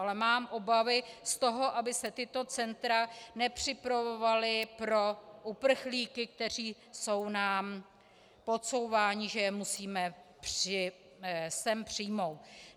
Ale mám obavy z toho, aby se tato centra nepřipravovala pro uprchlíky, kteří jsou nám podsouváni, že je musíme sem přijmout.